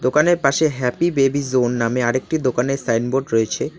দোকানের পাশে happy baby zone নামে আরেকটি দোকানের সাইনবোর্ড রয়েছে।